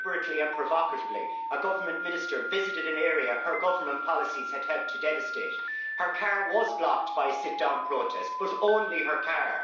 Deliberately and provocatively a government minister visited an area her government policies had helped to devastate. Her car was blocked by a sit down protest but only her car.